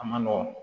A ma nɔgɔn